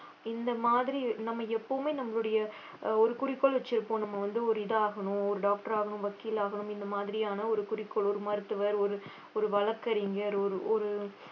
இந்த மாதிரி நம்ம எப்பவுமே நம்மளுடைய ஆஹ் ஒரு குறிக்கோள் வச்சிருப்போம் நம்ம வந்து ஒரு இது ஆகணும் ஒரு doctor ஆகணும் வக்கீல் ஆகணும் இந்த மாதிரியான ஒரு குறிக்கோள் ஒரு மருத்துவர் ஒரு ஒரு வழக்கறிஞர் ஒரு ஒரு